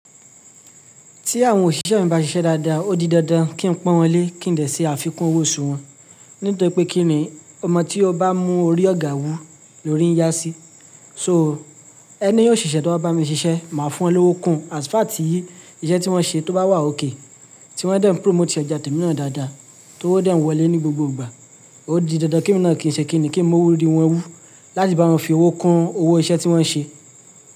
Tí àwọn òṣìṣẹ́ mi bá ṣiṣẹ́ dáadáa, ó di dandan kí n pọ́n wọn lé kí n dè ṣe àfikún owó sùwọ́n. Nítorí pé kí ni ọmọ tí ó bá mú orí ọ̀gá wù ló rí ń yá sí. So ẹni òṣìṣẹ́ tó bá bá mi ṣiṣẹ́ máa fún wọn lówó kun. Àsfààtì yìí iṣẹ́ tí wọ́n ṣe tó bá wà ókè, tí wọ́n dẹ̀ ń promote ojà tẹ̀miínà dáadáa tí ó wọ́ dẹ̀ ń wọlé ní gbogbo ìgbà. Ó di dandan kí emi náà kí n ṣe kí ni kí n mú orí wọn wú láti bá wọn fi owó kun owó iṣẹ́ tí wọ́n ṣe.